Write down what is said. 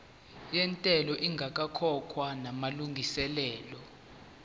yentela ingakakhokhwa namalungiselo